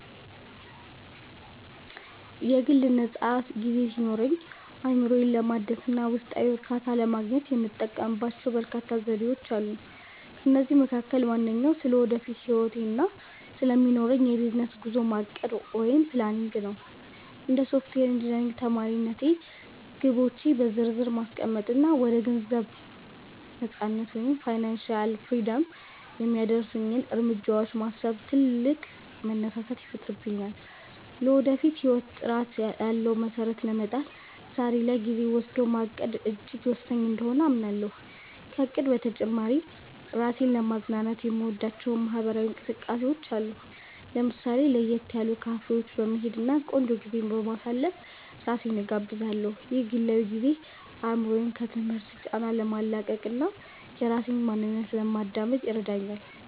የግል ነፃ ጊዜ ሲኖረኝ፣ አእምሮዬን ለማደስ እና ውስጣዊ እርካታን ለማግኘት የምጠቀምባቸው በርካታ ዘዴዎች አሉ። ከእነዚህም መካከል ዋነኛው ስለ ወደፊት ህይወቴ እና ስለሚኖረኝ የቢዝነስ ጉዞ ማቀድ (Planning) ነው። እንደ ሶፍትዌር ኢንጂነሪንግ ተማሪነቴ፣ ግቦቼን በዝርዝር ማስቀመጥ እና ወደ ገንዘብ ነፃነት (Financial Freedom) የሚያደርሱኝን እርምጃዎች ማሰብ ትልቅ መነሳሳትን ይፈጥርልኛል። ለወደፊት ህይወት ጥራት ያለው መሰረት ለመጣል ዛሬ ላይ ጊዜ ወስዶ ማቀድ እጅግ ወሳኝ እንደሆነ አምናለሁ። ከእቅድ በተጨማሪ፣ ራሴን ለማዝናናት የምወዳቸው ማህበራዊ እንቅስቃሴዎች አሉ። ለምሳሌ፣ ለየት ያሉ ካፌዎች በመሄድ እና ቆንጆ ጊዜ በማሳለፍ ራሴን እጋብዛለሁ። ይህ ግላዊ ጊዜ አእምሮዬን ከትምህርት ጫና ለማላቀቅ እና የራሴን ማንነት ለማዳመጥ ይረዳኛል